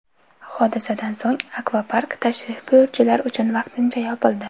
Hodisadan so‘ng akvapark tashrif buyuruvchilar uchun vaqtincha yopildi.